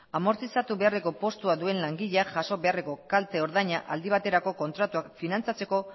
amortizatu beharreko postua duen langilea jaso beharreko kalte ordaina aldi baterako kontratuak finantzatzeko